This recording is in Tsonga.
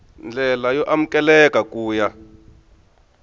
ndlela yo amukeleka ku ya